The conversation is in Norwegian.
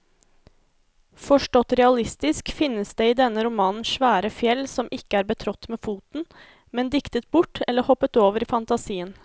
Forstått realistisk finnes det i denne romanen svære fjell som ikke er betrådt med foten, men diktet bort eller hoppet over i fantasien.